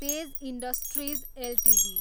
page industries Ltd